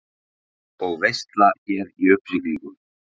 Og veisla hér í uppsiglingu.